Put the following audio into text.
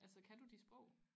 Altså kan du de sprog